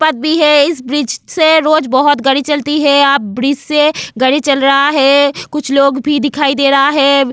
बात भी है इस ब्रिज से रोज बहुत गड़ी चलती है आप ब्रिज से गड़ी चल रहा है कुछ लोग भी दिखाई दे रहा है.